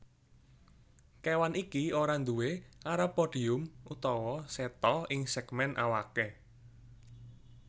Kéwan iki ora nduwé arapodium utawa seta ing sègmèn awaké